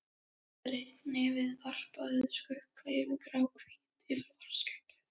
Breitt nefið varpaði skugga yfir gráhvítt yfirvaraskeggið.